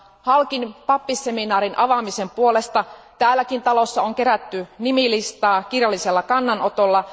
Halkin pappisseminaarin avaamisen puolesta täälläkin talossa on kerätty nimilistaa kirjallisella kannanotolla.